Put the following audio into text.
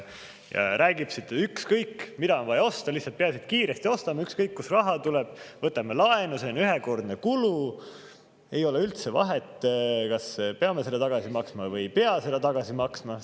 Ta räägib siin, et ükskõik, mida on vaja osta, peaasi, et kiiresti ostame, ükskõik, kust raha tuleb, võtame laenu, see on ühekordne kulu, ei ole üldse vahet, kas peame seda tagasi maksma või ei pea seda tagasi maksma.